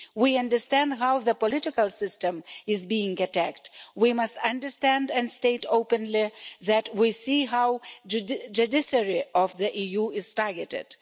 We understand how the political system is being attacked. We must understand and state openly that we see how the judiciary of the EU is being targeted.